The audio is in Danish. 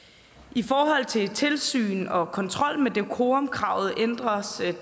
i forhold til tilsyn og kontrol med decorumkravet ændres det